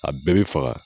A bɛɛ bɛ faga